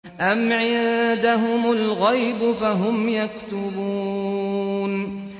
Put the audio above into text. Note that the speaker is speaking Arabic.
أَمْ عِندَهُمُ الْغَيْبُ فَهُمْ يَكْتُبُونَ